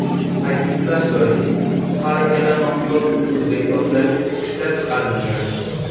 Ta’kidlash joiz, har ikkala mahsulot O‘zbekistonda ishlab chiqarilgan.